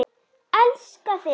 Elska þig!